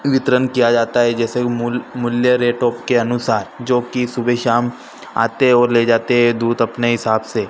वितरण किया जाता है जैसे मूल मूल्य रेटों के अनुसार जो कि सुबह शाम आते हैं और ले जाते हैं दूध अपने हिसाब से।